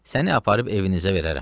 Səni aparıb evinizə verərəm.